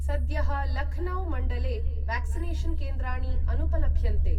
सद्यःलखनौ मण्डले व्याक्सिनेषन् केन्द्राणि अनुपलभ्यन्ते।